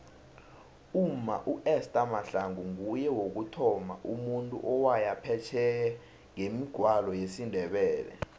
umma uester mahlangu nguye wokuthoma umuntu owaya phesheye ngemigwalo yesindebele